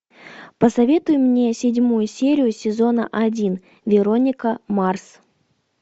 посоветуй мне седьмую серию сезона один вероника марс